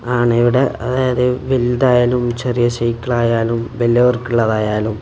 ആണ് ഇവിടെ അതായത് വലുതായാലും ചെറിയ സൈക്കിൾ ആയാലും വലിയവർക്കുള്ളതായാലും--